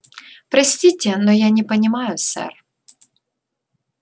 простите но я не понимаю сэр